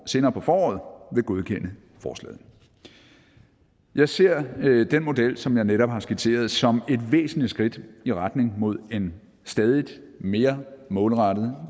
senere på foråret vil godkende forslaget jeg ser den model som jeg netop har skitseret som et væsentligt skridt i retning mod en stadig mere målrettet